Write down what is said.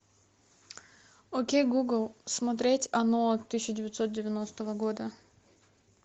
окей гугл смотреть оно тысяча девятьсот девяностого года